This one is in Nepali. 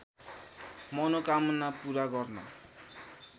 मनोकामना पूरा गर्न